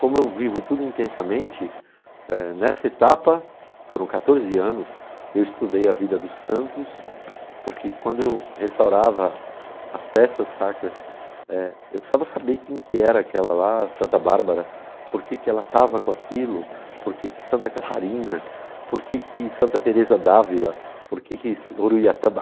Como eu vivo tudo intensamente, eh, nessa etapa, foram quatorze anos, eu estudei a vida dos santos, porque quando eu restaurava as peças sacras, eh eu precisava saber quem que era aquela lá, Santa Bárbara, por que que ela estava com aquilo, por que que Santa Catarina, por que que Santa Teresa d'Ávila, por que que Uruiatamba...